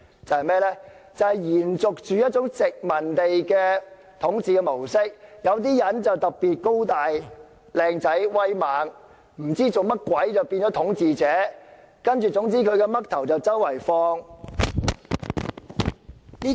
這是延續殖民地的統治模式，有些人可能特別高大、英俊、威猛，便會變成統治者，他們的肖像便會被四處展示。